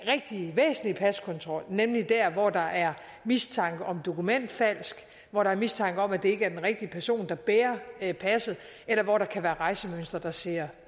rigtig væsentlige paskontrol nemlig der hvor der er mistanke om dokumentfalsk hvor der er mistanke om at det ikke er den rigtige person der bærer passet eller hvor der kan være rejsemønstre der ser